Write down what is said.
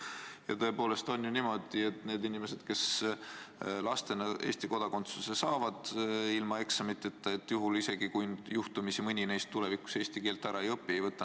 Ja tõepoolest on ju niimoodi, et neilt inimestelt, kes saavad Eesti kodakondsuse lapsena ilma eksameid tegemata, ei võta keegi kodakondsust ära isegi juhul, kui mõni neist tulevikus eesti keelt ära ei õpi.